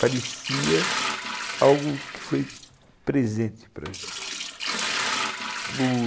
Parecia algo que foi presente para a gente.